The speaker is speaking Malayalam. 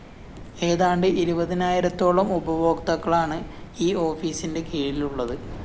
ഏതാണ്ട് ഇരുപതിനായിരത്തോളം ഉപഭോക്താക്കളാണ് ഈ ഓഫീസിന്റെ കീഴിലുള്ളത്